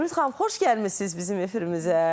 Zümrüd xanım, xoş gəlmisiniz bizim efirimizə.